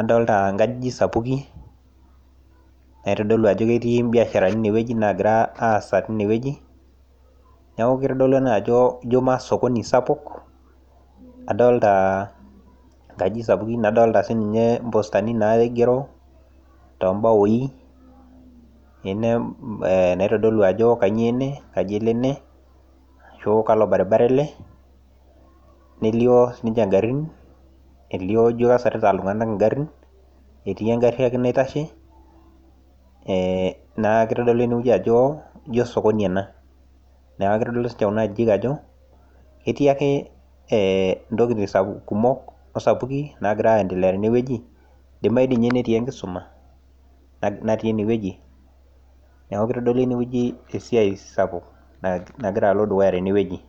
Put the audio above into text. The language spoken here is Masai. adolita inkajijik sapuki naitodolu ajo ketii imbiasharani inewueji nagira aasa tinewueji. Neaku keitodolu ena ajo jo masokoni sapuk, adolitaa inkajijik sapuki nadolita sininye impostani naigero toombawoi ine eeh naitodolu ajo kanyoo ene, kaji elo ene, ashu kalo baribara ele nelioo sininche ngarrin elioo ijo kesarita iltung'anak ingarrin, etii engarri ake naitashe eeh neaku eitodolu enewueji ajo ijo sokoni ena. Neaku keitodolu sinche kuna ajijik ajo etiake eeh intokitin sapuk eh kumok o sapuki kumok nagira aendelea tenewueji, eidimayu dii ninye netii enkisuma natii enewueji. Neaku keitodolu enewueji esiai sapuk nagira alo dukuya tenewueji.